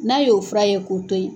N'a y'o fura ye k'o to ye